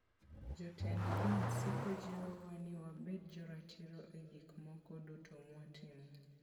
Jotend din siko jiwowa ni wabed joratiro e gik moko duto mwatimo.